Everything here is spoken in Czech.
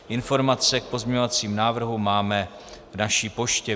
Informace k pozměňovacím návrhům máme v naší poště.